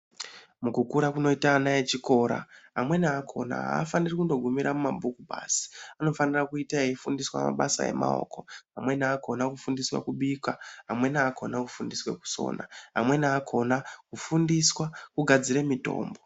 Mukukura kunoita ana echikora amweni akona afaniri kungogumira mumabhuku basi, anofinira kuita eyiita mabasa emaoko amweni akona kufundiswa kubika, amweni akona kufundiswa kusona, amweni akona kufundiswa kugadzire mitombo.